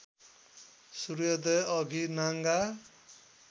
सूर्योदय अघि नाङ्गा